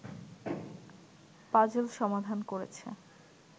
puzzle সমাধান করেছে